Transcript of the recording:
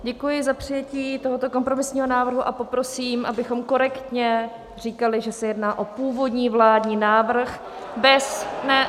Děkuji za přijetí tohoto kompromisního návrhu a poprosím, abychom korektně říkali, že se jedná o původní vládní návrh bez...